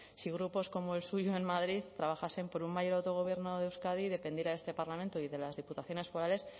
si grupos como el suyo en madrid trabajasen por un mayor autogobierno de euskadi dependiera de este parlamento y de las diputaciones forales